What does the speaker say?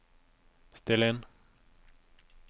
still inn